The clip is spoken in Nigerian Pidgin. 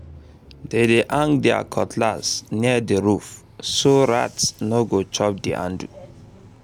dem dey hang their cutlass near the roof so rat no go chop the handle